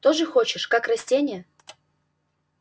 тоже хочешь как растение